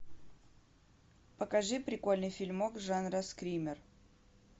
покажи прикольный фильмок жанра скример